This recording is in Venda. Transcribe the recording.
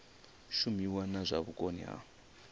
shumiwe na zwa vhukoni ha